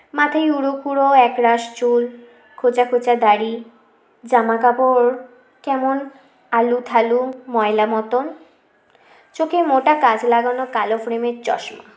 মাথায় উরো খুরো একরাশ চুল খোচা খোচা দাড়ি জামা কাপড় কেমন আলু থালু ময়লা মতন চোখে মোটা কাচ লাগানো কালো frame -এর চশমা